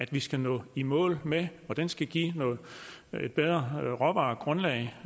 vi skal nå i mål med og den skal give et bedre råvaregrundlag